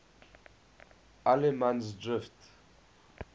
allemansdrift